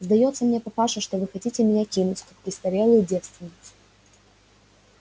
сдаётся мне папаша что вы хотите меня кинуть как престарелую девственниц